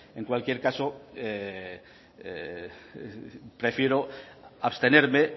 en cualquier caso prefiero abstenerme